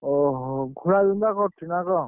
ଓହୋ ଘୋଳା ବିନ୍ଧା କରୁଛି ନା କଣ?